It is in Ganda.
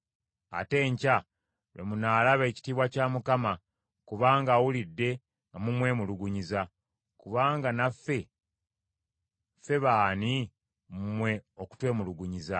ate enkya lwe munaalaba ekitiibwa kya Mukama , kubanga awulidde nga mumwemulugunyiza. Kubanga naffe ffe b’ani mmwe okutwemulugunyiza?”